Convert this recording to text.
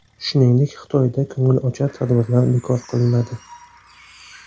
Shuningdek, Xitoyda ko‘ngilochar tadbirlar bekor qilinadi.